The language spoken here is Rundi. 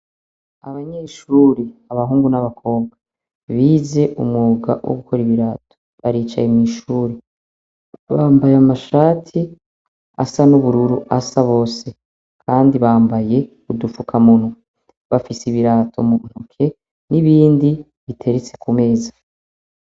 Abanyeshure abahungu n'abakobwa bize umwuga wogukora ibirato baricaye mwishure bambaye amashati asa n 'ubururu asa bose abandi bambaye udufukamunwa bafise ibirato muntoke n' ibindi biteretse kumeza.